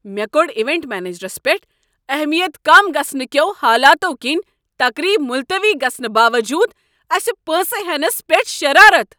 مےٚ کوٚڑ ایونٹ منیجرس پٮ۪ٹھ اہمِیت كم گژھنہٕ كیو حالاتو كِنۍ تقریب مُلتٔوی گژھنہٕ باوجوٗد اسہِ پونٛسہٕ ہینس پٮ۪ٹھ شرارتھ۔